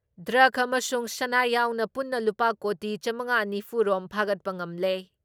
Drug ꯑꯃꯁꯨꯡ ꯁꯅꯥ ꯌꯥꯎꯅ ꯄꯨꯟꯅ ꯂꯨꯄꯥ ꯀꯣꯇꯤ ꯆꯥꯃꯉꯥ ꯅꯤꯐꯨ ꯔꯣꯝ ꯐꯥꯒꯠꯄ ꯉꯝꯂꯦ ꯫